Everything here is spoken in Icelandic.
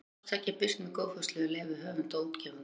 Hvort tveggja er birt með góðfúslegu leyfi höfunda og útgefanda.